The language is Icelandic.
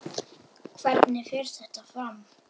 Hvernig fer þetta fram?